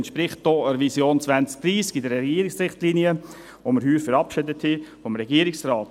Dies entspricht auch der Vision 2030 des Regierungsrates in den Regierungsrichtlinien, welche wir dieses Jahr verabschiedet haben.